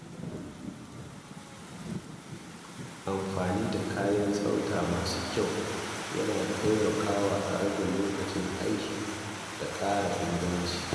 Amfani da kayan tsafta masu kyau yana taimakawa a rage lokacin aiki da ƙara inganci.